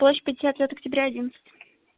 площадь пятьдесят лет октября одиннадцать